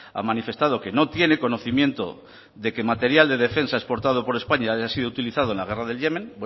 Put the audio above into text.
ha manifestado que no tiene conocimiento de que material de defensa exportado por españa haya sido utilizado en la guerra del yemen